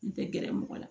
N tɛ gɛrɛ mɔgɔ la